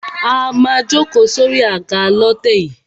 A má a jókòó sórí àga lọ́tẹ̀ yìí.